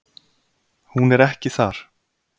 Hún er ekki þar.